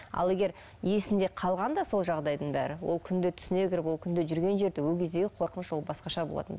ал егер есінде қалғанда сол жағдайдың бәрі ол күнде түсіне кіріп ол күнде жүрген жерде ол кездегі қорқыныш ол басқаша болатын